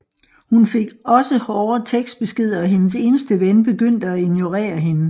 Hun fik også hårde tekstbeskeder og hendes eneste ven begyndte at ignorere hende